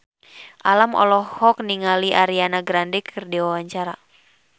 Alam olohok ningali Ariana Grande keur diwawancara